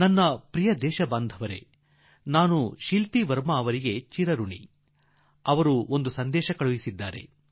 ನನ್ನೊಲವಿನ ದೇಶವಾಸಿಗಳೇ ನನಗೆ ಸಂದೇಶ ನೀಡಿರುವ ಶಿಲ್ಪ ವರ್ಮಾ ಅವರಿಗೆ ನಾನು ಆಭಾರಿ